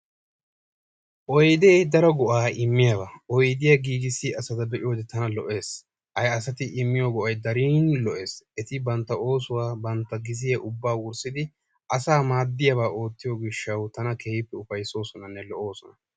Oydee daro go"aa immiyaba oydiya giigissiya asata be"iyode tana lo"es. Ha asati immiyo go"ayi dariini lo"es. Eti bantta oosuwa bantta gizziya ubbaa wurssidi asaa maaddiyabaa oottiyo gishshawu tana keehippe ufayssoosonanne lo"oosona.